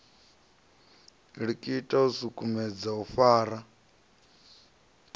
likita u sukumedza u fara